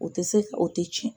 O tɛ se ka o tɛ tiɲɛn.